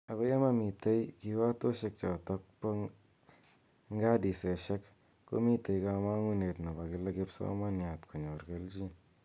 Ako ye mamotei kiwatoshek chotok ba ngadiseshek , komitei kamangunet nepo kila kipsomaniat konyor keljin .